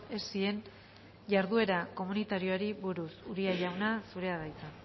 esien jarduera komunitarioei buruz tejeria